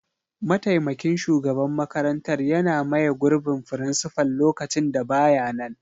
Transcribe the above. mataimakin shugaban makarantar yana maye gurbin frincifal lokacin da ba ya nan.